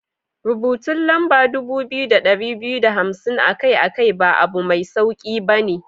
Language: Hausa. Rubutun lamba dubu biyu da dari biyu da hamsin akai-akai ba abu mai sauki ba.